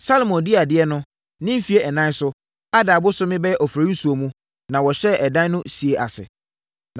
Salomo dii adeɛ no, ne mfeɛ ɛnan so, Adar bosome (bɛyɛ Oforisuo) mu, na wɔhyɛɛ ɛdan no sie ase.